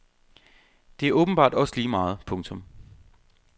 Det er åbenbart også ligemeget. punktum